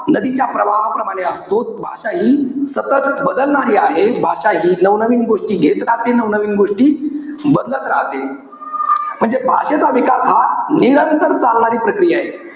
नदीच्या प्रवाहाप्रमाणे असतो. भाषा हि सतत बदलणारी आहे. भाषा हि नवनवीन गोष्टी घेत राहते. नवनवीन गोष्टी बदलत राहते. म्हणजे भाषेचा विकास हा निरंतर चालणारी प्रक्रिया आहे.